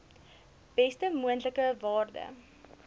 beste moontlike waarde